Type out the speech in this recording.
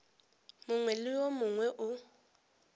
mongwe le wo mongwe o